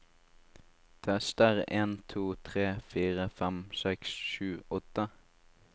Tester en to tre fire fem seks sju åtte